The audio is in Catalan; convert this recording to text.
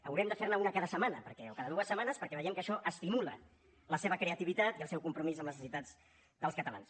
haurem de fer ne una cada setmana o cada dues setmanes perquè veiem que això estimula la seva creativitat i el seu compromís amb les necessitats dels catalans